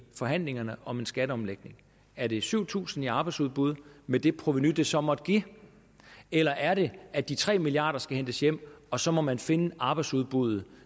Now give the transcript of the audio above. forhandlingerne om en skatteomlægning er det syv tusind i ekstra arbejdsudbud med det provenu det så måtte give eller er det at de tre milliard kroner skal hentes hjem og så må man finde arbejdsudbuddet